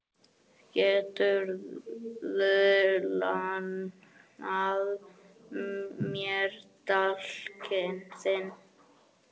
Geturðu lánað mér dálkinn þinn?